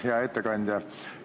Hea ettekandja!